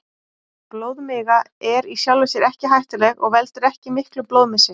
Blóðmiga er í sjálfu sér ekki hættuleg og veldur ekki miklum blóðmissi.